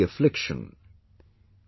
Shri Mohan ji runs a salon in Madurai